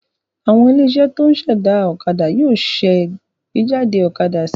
Àwọn ilé-iṣẹ́ tó ń ṣẹ̀dá ọ̀kadà yóò ṣàgbéjáde ọ̀kadà sí i.